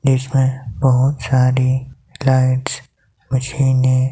इसमें बहुत सारी लाइट्स मशीनें --